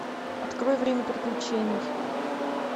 открой время приключений